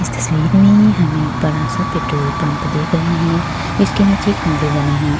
इस तस्वीर में हमे एक बडा-सा पेट्रोल पंप देख रहे हैं जिसके नीचे खम्भे बने हैं।